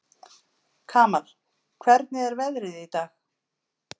Kamal, hvernig er veðrið í dag?